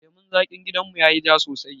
Lemun zaƙin gidan mu yayi ja sosai